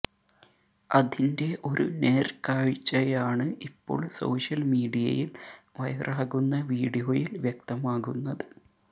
അതിന്റെ ഒരു നേര്ക്കാഴ്ചയാണ് ഇപ്പോള് സോഷ്യല് മീഡിയയില് വൈറാകുന്ന വീഡിയോയില് വ്യക്തമാകുന്നത്